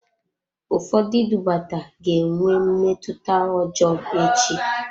Ụfọdụ idubata ga-enwe mmetụta ọjọọ echi.